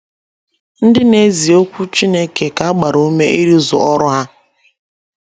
Ndi n' ezi Okwu Chineke ka agbara Ume Ịrụzu Ọrụ Ha